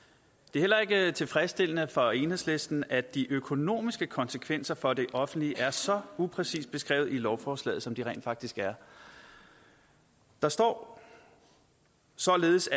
er heller ikke tilfredsstillende for enhedslisten at de økonomiske konsekvenser for det offentlige er så upræcist beskrevet i lovforslaget som de rent faktisk er der står således